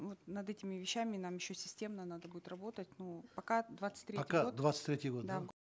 вот над этими вещами нам еще системно надо будет работать ну пока двадцать третий год пока двадцать третий год да